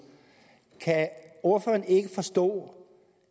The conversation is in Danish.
kan ordføreren ikke forstå